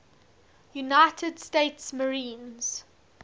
united states marines